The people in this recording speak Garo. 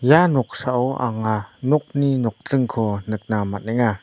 ia noksao anga nokni nokdringko nikna man·enga.